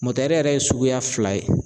yɛrɛ ye suguya fila ye